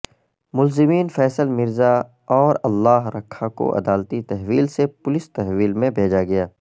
ملزمین فیصل مرزا اور اللہ رکھا کو عدالتی تحویل سے پولس تحویل میں بھیجا گیا